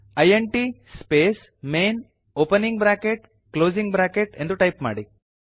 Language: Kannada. int space main opening bracket closing bracket ಎಂದು ಟೈಪ್ ಮಾಡಿ